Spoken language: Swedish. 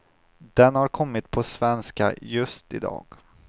Den har kommit på svenska just i dag.